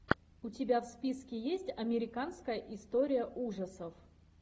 у тебя в списке есть американская история ужасов